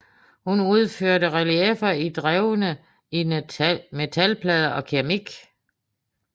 Han udførte relieffer i drevne i metalplader og keramik